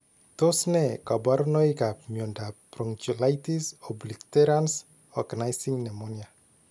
Tos ne kaborunoikap miondop bronchiolitis obliterans organizing pneumonia ?